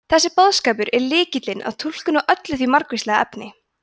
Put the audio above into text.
þessi boðskapur er lykillinn að túlkun á öllu því margvíslega efni